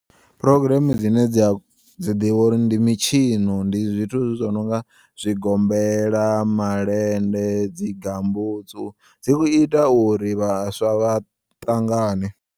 Progreme dzine dza dzi ḓivha ndi mitshino ndi zwithu zwononga zwigombela, malende, dzigambutsu dzi ita uri vhaswa vhaṱangane.